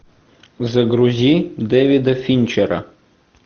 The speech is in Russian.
загрузи дэвида финчера